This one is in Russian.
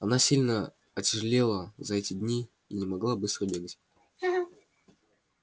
она сильно отяжелела за эти дни и не могла быстро бегать